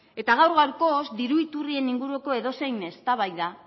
gaur gaurkoz diru iturrien inguruko edozein eztabaida